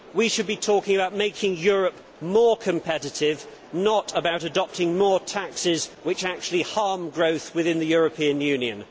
We should be talking about making Europe more competitive, not about adopting more taxes which actually harm growth within the European Union.